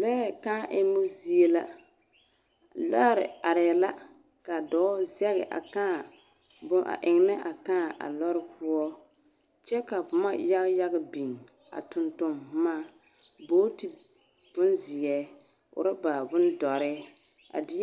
Lɔɛ kaa emmo zie la lɔre arɛɛ la ka dɔɔ zɛge a kaa bon a eŋnɛ a kaa a lɔre poɔ kyɛ ka boma yagyag beŋ a toŋtoŋ boma booti bonzeɛ ɔrɔba bondɔre a de